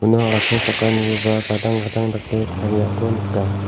uno asongchakanikoba gadang gadang dake tariako nika.